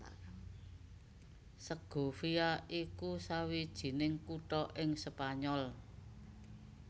Segovia iku sawijining kutha ing Spanyol